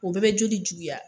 O bɛɛ bɛ joli juguya.